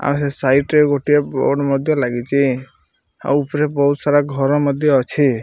ଆହେ site ରେ ଗୋଟିଏ board ମଧ୍ୟ ଲାଗିଛି ଆଉ ଉପରେ ବହୁତ ସାରା ଘର ମଧ୍ୟ ଅଛି।